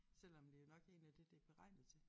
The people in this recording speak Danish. Selvom det jo nok egentlig er det det beregnet til